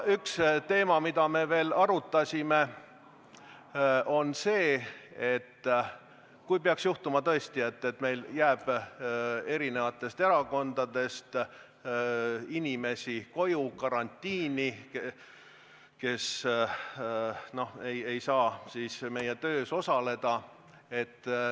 Üks teema, mida me veel arutasime, oli olukord, kui peaks tõesti juhtuma, et meil jääb eri erakondadest inimesi koju karantiini ja nad ei saa meie töös osaleda.